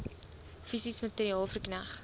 fisies materieel verkneg